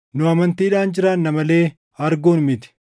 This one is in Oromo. Nu amantiidhaan jiraanna malee arguun miti.